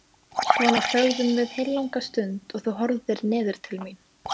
Svona þögðum við heillanga stund og þú horfðir niður til mín.